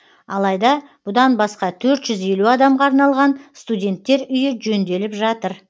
алайда бұдан басқа төрт жүз елу адамға арналған студенттер үйі жөнделіп жатыр